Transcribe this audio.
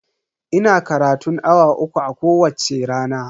Ina karatun awa uku a kowacce rana.